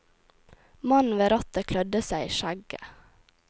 Mannen ved rattet klødde seg i skjegget.